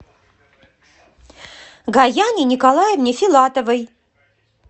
гаяне николаевне филатовой